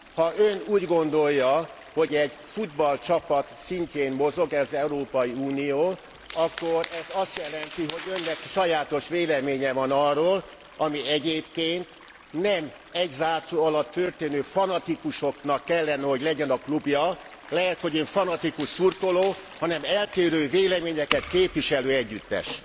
Ha Ön úgy gondolja, hogy egy futballcsapat szintjén mozog az Európai Unió, akkor ez azt jelenti, hogy Önnek sajátos véleménye van arról, ami egyébként nem egy zászló alatt tömörülő fanatikusoknak kellene, hogy legyen a klubja lehet, hogy Ön fanatikus szurkoló hanem eltérő véleményeket képviselő együttes.